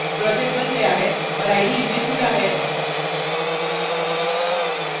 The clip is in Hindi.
project बन गया है और ide में खुला है